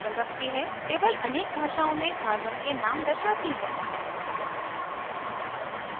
table अनेक भाषाओँ में carbon के name दर्शाती है